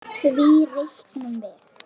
Því reiknum við